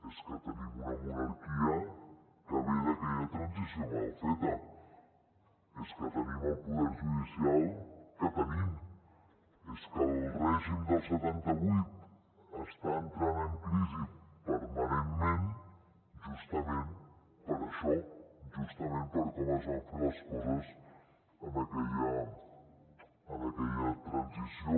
és que tenim una monarquia que ve d’aquella transició mal feta és que tenim el poder judicial que tenim és que el règim del setanta vuit està entrant en crisi permanentment justament per això justament per com es van fer les coses en aquella transició